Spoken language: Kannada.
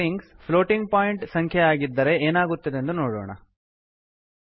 ಈಗ ಸ್ಟ್ರಿಂಗ್ಸ್ ಪ್ಲೋಟಿಂಗ್ ಪಾಯಿಂಟ್ ಸಂಖ್ಯೆಯಾಗಿದ್ದರೆ ಏನಾಗುತ್ತದೆಂದು ನೋಡೋಣ